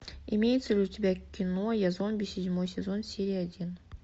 имеется ли у тебя кино я зомби седьмой сезон серия один